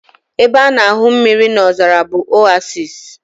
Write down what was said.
Ebe a na-ahụ mmiri n'ozara bụ Oasis